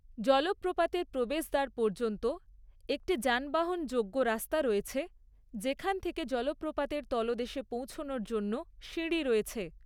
জলপ্রপাতের প্রবেশদ্বার পর্যন্ত একটি যানবাহনযোগ্য রাস্তা রয়েছে, যেখান থেকে জলপ্রপাতের তলদেশে পৌঁছানোর জন্য সিঁড়ি রয়েছে।